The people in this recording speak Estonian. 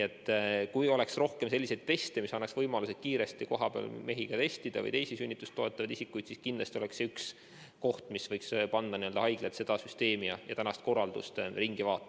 Kui oleks rohkem selliseid teste, mis annaks võimaluse kiiresti kohapeal mehi ja teisi sünnitust toetavad isikuid testida, siis kindlasti oleks see võimalus panna haiglad seda süsteemi ja praegust korraldust muutma.